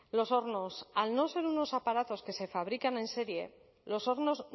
los hornos al no ser unos aparatos que se fabrican en serie los hornos